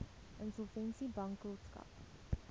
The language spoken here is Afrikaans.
insolvensiebankrotskap